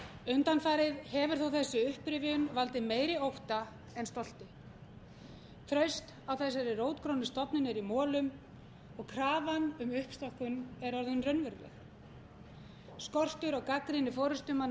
undanfarið hefur þó þessi upprifjun valdið meiri ótta en stolti traust á þessari rótgrónu stofnun er í molum og krafan um uppstokkun er orðin raunveruleg skortur á gagnrýni forustumanna